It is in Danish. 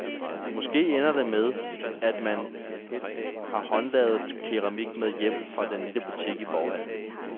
Måske ender det med, at man har håndlavet keramik med hjem fra den lille butik i forhallen.